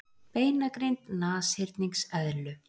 Beinagrind nashyrningseðlu